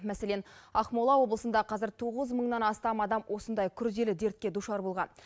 мәселен ақмола облысында қазір тоғыз мыңнан естам адам осындай күрделі дертке душар болған